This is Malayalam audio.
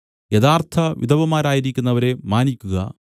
യഥാർത്ഥ വിധവമാരായിരിക്കുന്നവരെ മാനിയ്ക്കുക